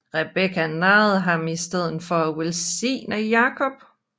Rebekka narrede ham til i stedet at velsigne Jakob